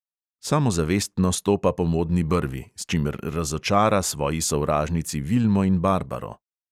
Samozavestno stopa po modni brvi, s čimer razočara svoji sovražnici vilmo in barbaro.